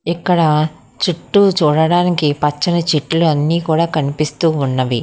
ఇక్కడ చుట్టూ చూడడానికి పచ్చని చెట్లు అన్నీ కూడా కనిపిస్తూ ఉన్నవి.